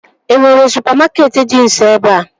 E nwere supamakeetị dị nso ebea?